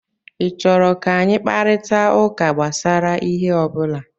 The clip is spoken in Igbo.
Ị chọrọ ka anyị kparịta ụka gbasara ihe ọ bụla?